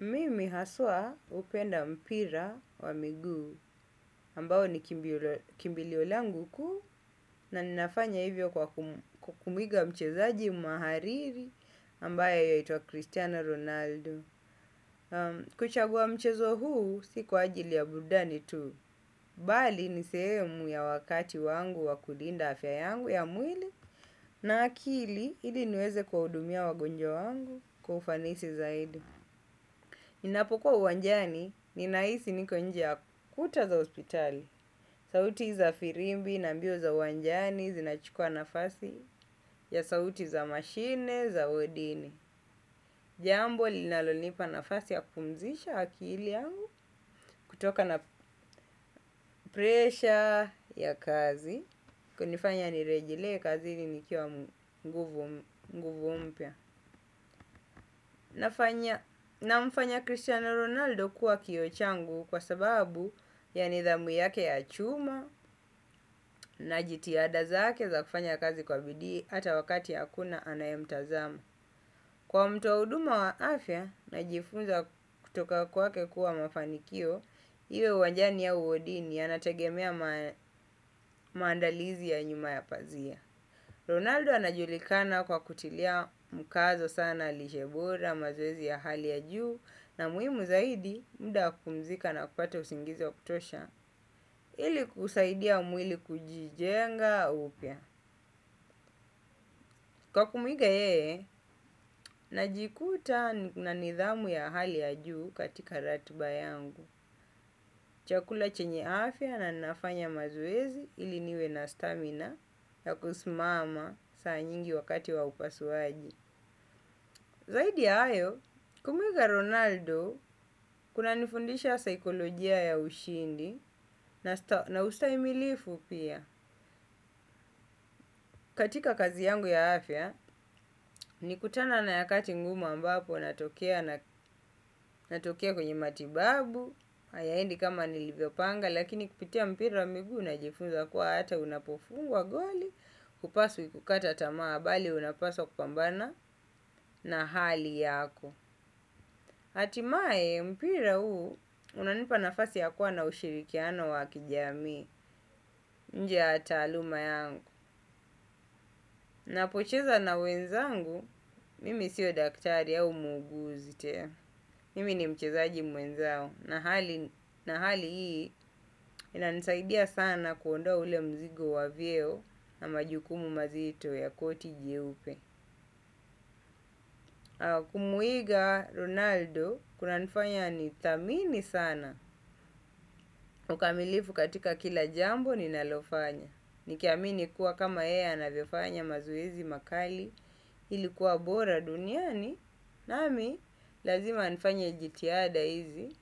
Mimi haswa hupenda mpira wa miguu ambao ni kimbilio langu kuu na ninafanya hivyo kwa kumuiga mchezaji mhariri ambaye yuaitwa Cristiano Ronaldo. Naam, kuchagua mchezo huu si kwa ajili ya burudani tu. Bali ni sehemu ya wakati wangu wakulinda afya yangu ya mwili na akili ili niweze kuwahudumia wagonjwa wangu kwa ufanisi zaidi. Ninapokuwa uwanjani, ninahisi niko nje ya kuta za hospitali. Sauti za firimbi, na mbio za uwanjani, zinachukua nafasi ya sauti za mashine, za wadini. Jambo, linalonipa nafasi ya kumpumzisha akili yangu, kutokana na presha ya kazi, kunifanya nirejelee kazi nikiwa nguvu mpya. Namfanya Cristiano Ronaldo kuwa kioo changu kwa sababu ya nidhamu yake ya chuma, na jitihada zake za kufanya kazi kwa bidii ata wakati akuna anaye mtazama. Kwa mtu wa huduma wa afya najifunza kutoka kwake kuwa mafanikio, iwe uwanjani au wodini yanategemea maandalizi ya nyuma ya pazia. Ronaldo anajulikana kwa kutilia mkazo sana lishe bora, mazoezi ya hali ya juu na muhimu zaidi mda wa kupumzika na kupata usingizi wa kutosha, ili kusaidia mwili kujijenga upya. Kwa kumuiga yeye, najikuta na nidhamu ya hali ya juu katika ratiba yangu. Chakula chenye afya na nafanya mazoezi ili niwe na stamina ya kusimama saa nyingi wakati wa upasuaji. Zaidi ya hayo, kumuiga Ronaldo, kuna nifundisha saikolojia ya ushindi na ustaimilifu pia. Katika kazi yangu ya afya, nilikutana na yakati ngumu ambapo natokea, natokea kwenye matibabu, hayaendi kama nilivyopanga, lakini kupitia mpira wa miguu najifunza kuwa hata unapofungwa goli hupaswi kukata tamaa bali unapaswa kupambana na hali yako. Hatimaye, mpira huu unanipa nafasi ya kuwa na ushirikiano wa kijamii. Nje ya taaluma yangu. Napocheza na wenzangu mimi siyo daktari au muuguzi tena. Mimi ni mchezaji mwenzao na hali, na hali hii inanisaidia sana kuondoa ule mzigo wa vyeo na majukumu mazito ya koti jeupe. Kumuiga Ronaldo, kunanifanya nithamini sana, ukamilifu katika kila jambo ninalofanya. Nikiamini kuwa kama yeye anavyofanya mazoezi makali, ilikuwa bora duniani nami, lazima nifanye jitihada hizi,